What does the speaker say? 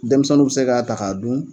Denmisɛnnuw be se k'a ta k'a dun